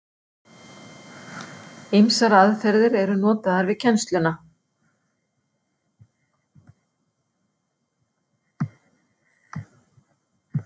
Ýmsar aðferðir eru notaðar við kennsluna.